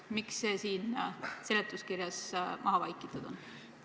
Miks see siin seletuskirjas maha vaikitud on?